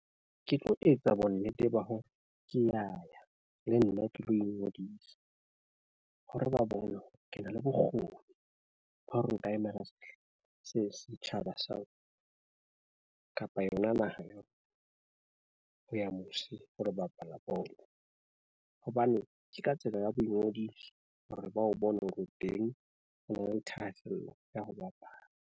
Ke tlo etsa bonnete ba hore ke ya ya le nna ke lo ingodisa hore ba bone ke na le bokgoni ba hore nka emela sehla se setjhaba sa kapa yona naha eo ha ya mose. Ho lo bapala bolo hobane ke ka tsela ya boingodiso hore ba o bone hore o teng. Ho na le thahasello ya ho bapala.